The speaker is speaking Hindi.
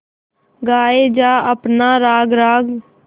गाये जा अपना राग राग